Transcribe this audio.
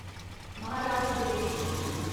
Maharashtra day